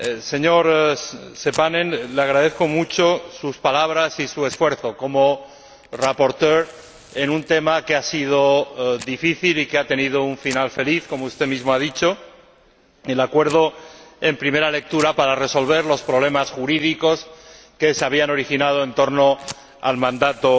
Señor Seppänen, le agradezco mucho sus palabras y su esfuerzo como ponente en un tema que ha sido difícil y que ha tenido un final feliz, como usted mismo ha dicho, a saber, el acuerdo en primera lectura para resolver los problemas jurídicos originados en torno al mandato